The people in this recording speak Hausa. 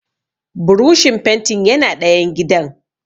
Burushin fentin yana ɗayan gidan